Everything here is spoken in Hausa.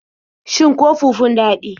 Shin ko fufun daɗi?